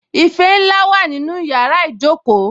Ife ńlá wà nínú yàrá ìjókòó